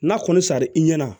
N'a kɔni sari i ɲɛ na